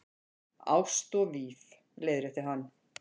Ást og víf- leiðrétti hann.